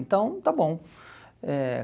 Então, está bom. Eh